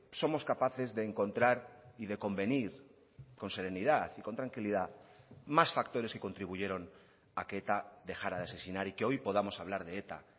somos capaces de encontrar y de convenir con serenidad y con tranquilidad más factores que contribuyeron a que eta dejara de asesinar y que hoy podamos hablar de eta